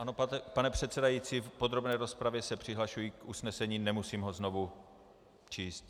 Ano, pane předsedající, v podrobné rozpravě se přihlašuji k usnesení, nemusím ho znovu číst.